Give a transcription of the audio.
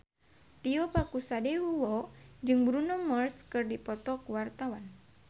Tio Pakusadewo jeung Bruno Mars keur dipoto ku wartawan